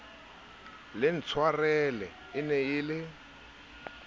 le ntshwarele e ne e